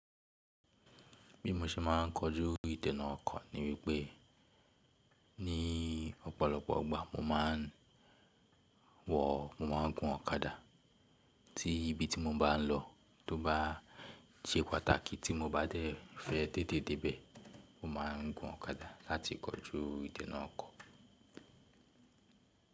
Bí mo ṣe máa ń kojú ìdènà ọkọ̀ ní wípé ní ọ̀pọ̀lọpọ̀ gbà mo máa ń wọ̀, mo máa ń gun ọ̀kadà tí ibi tí mo bá ń lọ tó bá sẹ́ pàtàkì tí mo bá dẹ̀ fẹ́ té te dé bee, mo máa ń gun ọ̀kadà láti kojú ìdènà ọkọ̀.